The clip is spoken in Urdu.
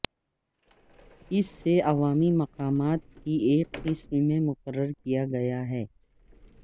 اس سے عوامی مقامات کی ایک قسم میں مقرر کیا گیا ہے